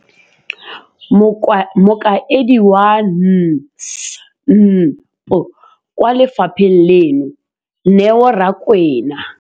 Mokaedi wa NSNP kwa lefapheng leno, Neo Rakwena,